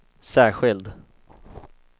särskild